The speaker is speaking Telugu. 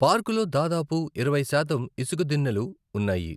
పార్కులో దాదాపు ఇరవై శాతం ఇసుక దిన్నెలు ఉన్నాయి.